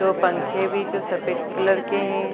दो पंखे भी जो सफेद कलर के हैं।